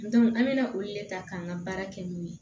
an bɛ na olu le ta k'an ka baara kɛ n'o ye